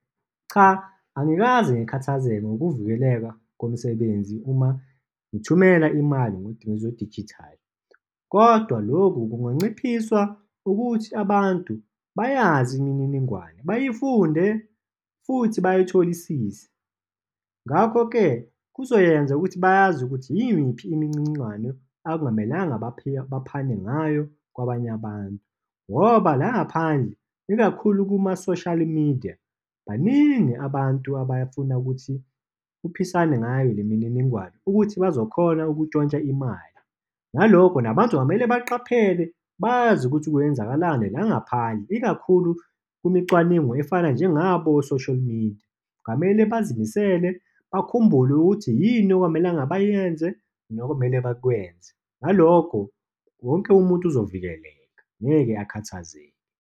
Cha, angikaze ngikhathazeke ngokuvikeleka komsebenzi uma ngithumela imali ngezinto zedijithali. Kodwa lokhu kunganciphiswa ukuthi abantu bayazi imininingwane, bayifunde futhi bayitholisize. Ngakho-ke, kuzoyenza ukuthi bazi ukuthi yimiphi imininingwane okungamelanga baphane ngayo kwabanye abantu, ngoba la ngaphandle, ikakhulu kuma-social media, baningi abantu abafuna ukuthi uphisane ngayo le mininingwane ukuthi bazokhona ukutshontsha imali. Ngalokho nabantu kumele baqaphele, bazi ukuthi kwenzakalani la ngaphandle, ikakhulu kumicwaningo efana njengabo o-social media. Kwamele bazimisele, bakhumbule ukuthi yini okungamelanga bayenze nokumele bakwenze. Ngalokho, wonke umuntu uzovikeleka, ngeke akhathazeke.